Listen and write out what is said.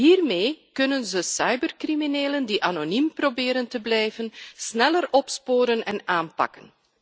Hiermee kunnen ze cybercriminelen die anoniem proberen te blijven, sneller opsporen en aanpakken.